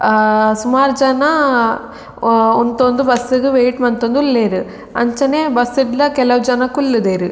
ಆ ಸುಮಾರ್ ಜನ ಉಂತೊಂದು ಬಸ್ಸ್ ವೈಟ್ ಮಂತೊಂದುಲ್ಲೆರ್ ಅಂಚನೆ ಬಸ್ಸ್ ಡ್ಲ ಕೆಲವು ಜನ ಕುಲ್ಲುದೆರ್.